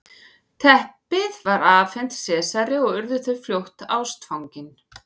teppið var afhent sesari og urðu þau fljótt ástfangin